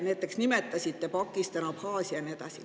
Nimetasite näiteks Pakistani, Abhaasiat ja nii edasi.